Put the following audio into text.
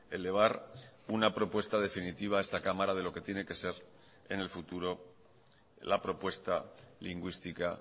elevar una propuesta definitiva a esta cámara de lo que tiene que ser en el futuro la propuesta lingüística